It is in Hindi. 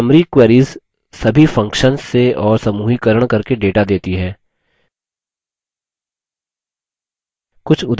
summary queries सभी functions से और समूहीकरण करके data देती है